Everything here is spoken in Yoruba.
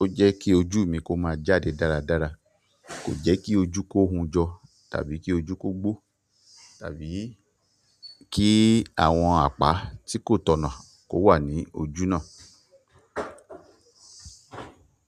Ó jẹ́ kí ojú mi kó máa jáde dáradára, kò jẹ́ kí ojú kó hun jọ tàbí kí ojú kó gbó tàbí kí àwọn àpá tí kò tọ̀nà kó wà ní ojú náà.